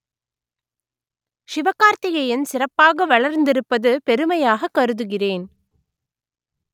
சிவகார்த்திகேயன் சிறப்பாக வளர்ந்திருப்பது பெருமையாக கருதுகிறேன்